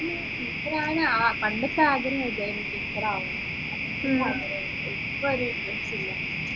ഉം teacher ആവാൻ ആ പണ്ടതാഗ്രഹമില്ല teacher ആവാം ഇപ്പോ ഒരു interest ഇല്ല